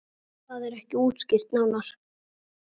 Það er ekki útskýrt nánar.